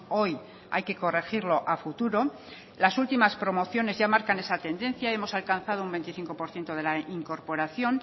hoy hay que corregirlo a futuro las últimas promociones ya marcan esa tendencia y hemos alcanzado un veinticinco por ciento de la incorporación